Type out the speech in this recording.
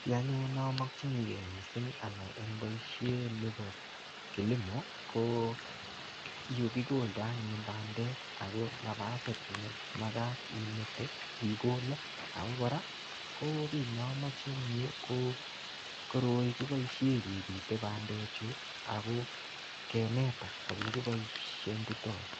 Kii anyun nomokyinike anyun mising anai en boishet nibo kilimo ko yekikoldo anyun bandek ak ko nabasit nemakat imete ikole ak ko kora kii nomoche en yuu ko koroi kiboishe kebite bandechu ak ko kaneta elekiboishoitoi.